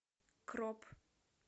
кроп